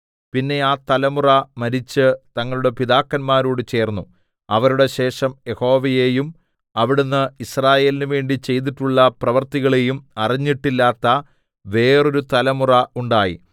പിന്നെ ആ തലമുറ മരിച്ച് തങ്ങളുടെ പിതാക്കന്മാരോട് ചേർന്നു അവരുടെ ശേഷം യഹോവയെയും അവിടുന്ന് യിസ്രായേലിന് വേണ്ടി ചെയ്തിട്ടുള്ള പ്രവൃത്തികളെയും അറിഞ്ഞിട്ടില്ലാത്ത വേറൊരു തലമുറ ഉണ്ടായി